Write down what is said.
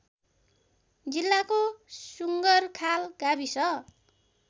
जिल्लाको सुँगरखाल गाविस